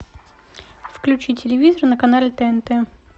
включи телевизор на канале тнт